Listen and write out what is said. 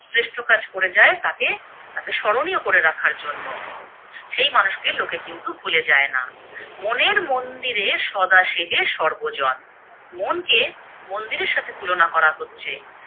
শ্রেষ্ঠ কাজ করে যায় তাকে তাকে স্মরণীয় করে রাখার জন্য, সেই মানুষকে লোকে কিন্তু ভুলে যায় না। মনের মন্দিরে সদা সেবে সর্বজন, মনকে মন্দিরে সাথে তুলনা করা হচ্ছে